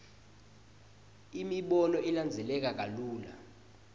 imibono ilandzeleka kalula